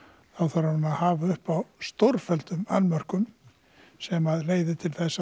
þarf hún að hafa upp á stórfelldum annmörkum sem leiðir til þess